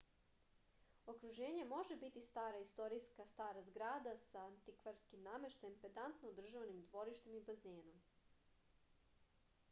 okruženje može biti stara istorijska stara zgrada sa antikvarskim nameštajem pedantno održavanim dvorištem i bazenom